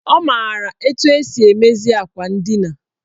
Ọ maara etu esi emezi akwa ndina.